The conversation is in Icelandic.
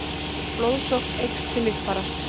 blóðsókn eykst til líffæra